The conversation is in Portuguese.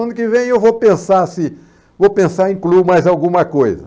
Ano que vem eu vou pensar se vou pensar em incluir mais alguma coisa.